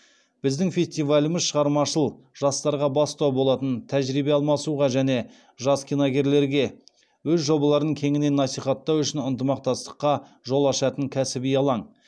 біздің фестиваліміз шығармашыл жастарға бастау болатын тәжірибе алмасуға және жас киногерлерге өз жобаларын кеңінен насихаттау үшін ынтымақстастыққа жол ашатын кәсіби алаң